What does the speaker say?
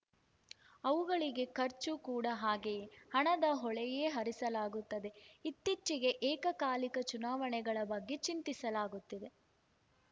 ಅವುಗಳಿಗೆ ಖರ್ಚು ಕೂಡಾ ಹಾಗೆಯೇ ಹಣದ ಹೊಳೆಯೇ ಹರಿಸಲಾಗುತ್ತದೆ ಇತ್ತೀಚೆಗೆ ಏಕಕಾಲಿಕ ಚುನಾವಣೆಗಳ ಬಗ್ಗೆ ಚಿಂತಿಸಲಾಗುತ್ತಿದೆ